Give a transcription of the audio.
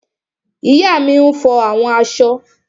Ìyá mi n fọ àwọn aṣọ